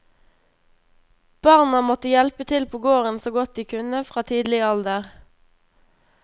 Barna måtte hjelpe til på gården så godt de kunne fra tidlig alder.